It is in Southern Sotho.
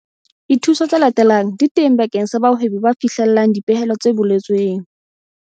Dithuso tse latelang di teng bakeng sa bahwebi ba fihlellang dipehelo tse boletsweng.